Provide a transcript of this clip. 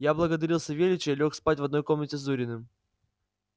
я благодарил савельича и лёг спать в одной комнате с зуриным